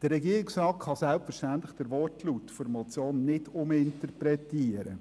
Der Regierungsrat darf den Wortlaut der Motion selbstverständlich nicht uminterpretieren.